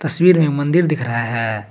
तस्वीर में मंदिर दिख रहा है।